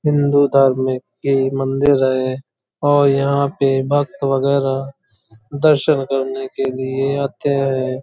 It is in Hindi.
हिन्दू धार्मिक मंदिर है और यहाँ पे भक्त वगेरा दर्शन करने के लिए आते है।